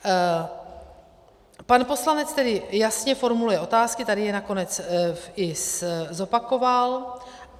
Pan poslanec tedy jasně formuluje otázky, tady je nakonec i zopakoval.